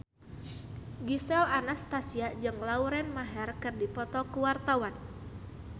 Gisel Anastasia jeung Lauren Maher keur dipoto ku wartawan